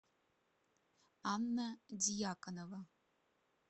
анна дьяконова